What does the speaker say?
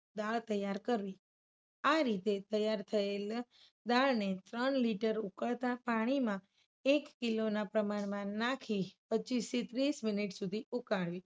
દાળ તૈયાર કરી. આ રીતે તૈયાર થયેલું દાળને ત્રણ રીતે ઉકળતા પાણીમાં એક કિલોના પ્રમાણમાં નાખી પચ્ચીસ થી ત્રીસ મિનિટ સુધી ઉકાળવું.